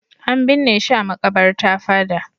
An binne shi a maƙabarta fada.